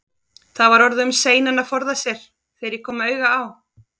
Það var orðið um seinan að reyna að forða sér, þegar ég kom auga á